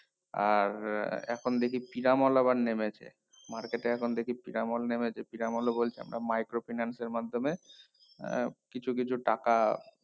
আর এখন দেখি পিরামল আবার নেমেছে market এ এখন দেখি পিরামল নেমেছে পিরামলে বলছে আমরা micro finance এর মাধ্যমে আহ কিছু কিছু টাকা